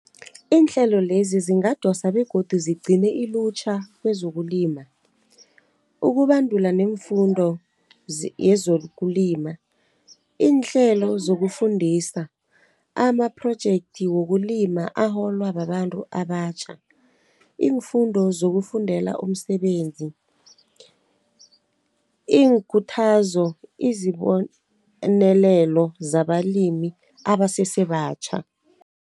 Iinhlelo lezi zingadosa begodu zigcine ilutjha kwezokulima, ukubandula neemfundo yezokulima, iinhlelo zokufundisa, amaprojekthi wokulima aholwa babantu abatjha, iinfundo zokufundela umsebenzi, iinkuthazo, izibonelelo zabalimi abasesebatjha.